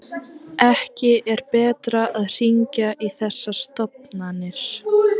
Ekki er betra að hringja í þessar stofn- anir.